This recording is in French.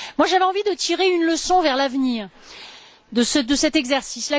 J'avais envie de tirer une leçon, pour l'avenir, de cet exercice.